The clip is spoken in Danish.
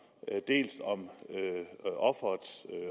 om